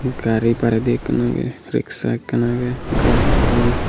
gari bareh di ekkan aagey rickshaw ekkan aagey gaj agon.